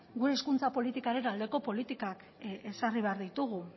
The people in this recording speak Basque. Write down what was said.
gure hizkuntza politikaren aldeko politikak ezarri behar ditugu